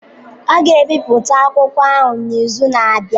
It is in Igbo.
A ga-ebipụta akwụkwọ ahụ n'izu na-abịa.